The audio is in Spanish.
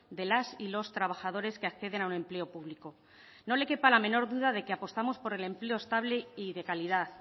de las y los trabajadores que acceden a un empleo público no le quepa la menor duda de que apostamos por el empleo estable y de calidad